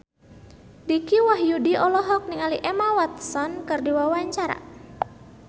Dicky Wahyudi olohok ningali Emma Watson keur diwawancara